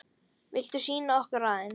Viltu sýna okkur aðeins?